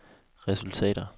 resultater